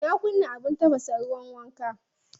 Na kunna abin tafasa ruwan wanka.